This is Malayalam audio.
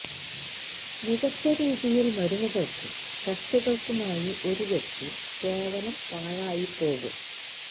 മികച്ച രീതിയിൽ മരുന്നുകൾക്കും ടെസ്റ്റുകൾക്കുമായി ഒരു വ്യക്തി കേവലം പാഴായിപ്പോകും